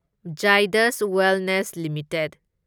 ꯓꯥꯢꯗꯁ Wellness limited